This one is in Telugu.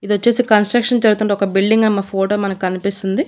ఇదొచ్చేసి కన్స్ట్రక్షన్ జరుగుతుంటే ఒక బిల్డింగ్ అని మ ఫోటో మనకనిపిస్తుంది.